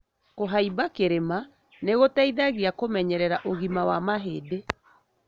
Kũhaimba kĩrĩma nĩgũteithagia kũmenyerera ũgima wa mahĩndĩ.